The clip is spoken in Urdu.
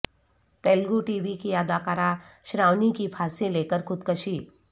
تلگو ٹی وی اداکارہ شراونی کی پھانسی لیکر خودکشی